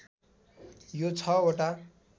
यो ६ वटा